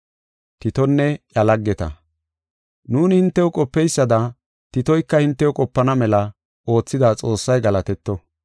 Nuuni hintew qopeysada Titoyka hintew qopana mela oothida Xoossay galatetto.